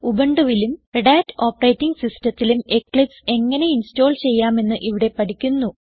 ഉബുണ്ടുവിലും Red Hat operating സിസ്റ്റത്തിലും Eclipse എങ്ങനെ install ചെയ്യാമെന്ന് ഇവിടെ പഠിക്കുന്നു